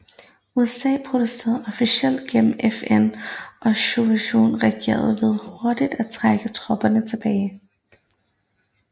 USA protesterede officielt gennem FN og Sovjetunionen reagerede ved hurtigt at trække tropperne tilbage